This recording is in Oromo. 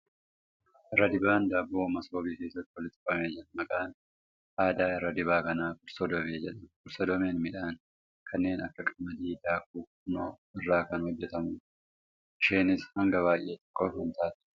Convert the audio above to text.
Irradibaan daabboo masoobii keessatti walitti qabamee jira. Maqaan addaa irradibaa kanaa ' kursoddomee ' jedhama. Kursoddomeen midhaan kenneen akka qamadii fi daakuu furnoo irraa kan hojjatamuudha. Isheenis hangaan baay'ee xiqqoo kan taateedha.